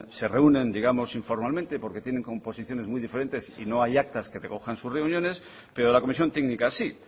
se reúnen digamos informalmente porque tienen composiciones muy diferentes y no hay actas que recojan sus reuniones pero la comisión técnica sí